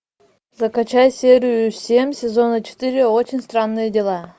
закачай серию семь сезона четыре очень странные дела